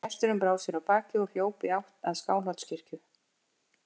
Gesturinn brá sér af baki og hljóp í áttina að Skálholtskirkju.